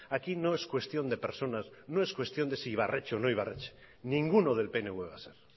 aquí no es cuestión de personas no es cuestión de si ibarretxe o no ibarretxe ninguno del pnv va a ser